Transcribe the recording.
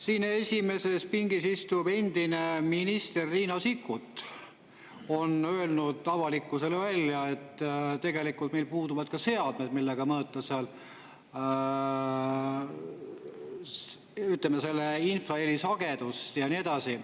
Siin esimeses pingis istuv endine minister Riina Sikkut on öelnud avalikkusele välja, et tegelikult meil puuduvad ka seadmed, millega mõõta seal, ütleme, selle infraheli sagedust ja nii edasi.